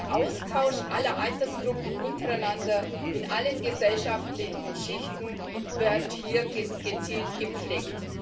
Der Austausch aller Altersgruppen untereinander in allen gesellschaftlichen Schichten wird hier gezielt gepflegt.